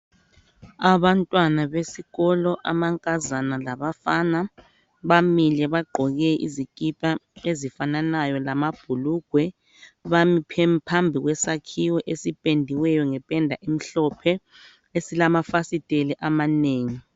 Abantwana besikolo amankazana labafana bamile bagqoke izikipa ezifananayo lamabhulugwe bami phambi kwesakhiwo esipendiweyo ngependa emhlophe esilamafasitela amanengi.